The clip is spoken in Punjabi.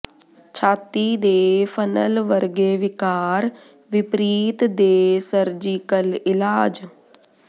ਛਾਤੀ ਦੇ ਫਨਲ ਵਰਗੇ ਵਿਕਾਰ ਵਿਪਰੀਤ ਦੇ ਸਰਜੀਕਲ ਇਲਾਜ